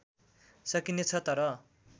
सकिने छ तर